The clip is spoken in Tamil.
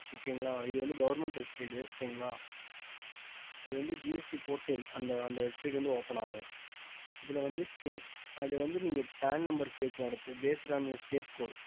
okey க ம்